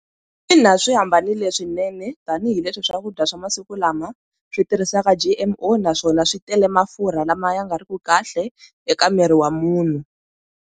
Ina swi hambanile swinene tanihileswi swakudya swa masiku lama swi tirhisaka G_M_O naswona swi tele mafurha lama ya nga ri ki kahle eka miri wa munhu.